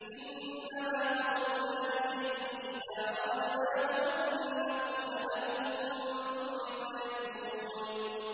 إِنَّمَا قَوْلُنَا لِشَيْءٍ إِذَا أَرَدْنَاهُ أَن نَّقُولَ لَهُ كُن فَيَكُونُ